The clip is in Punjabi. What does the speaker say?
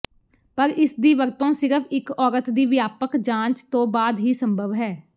ਪਰ ਇਸਦੀ ਵਰਤੋਂ ਸਿਰਫ ਇਕ ਔਰਤ ਦੀ ਵਿਆਪਕ ਜਾਂਚ ਤੋਂ ਬਾਅਦ ਹੀ ਸੰਭਵ ਹੈ